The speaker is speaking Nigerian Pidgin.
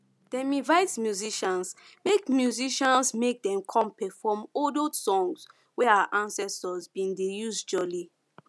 dem invite musicians make musicians make dem come perform old old songs wey our ancestors bin dey use jolly